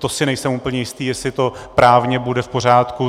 To si nejsem úplně jistý, jestli to právně bude v pořádku.